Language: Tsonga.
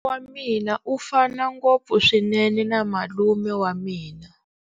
Wa mina u fana ngopfu swinene na malume wa mina.